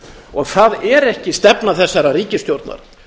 og það er ekki stefna þessarar ríkisstjórnar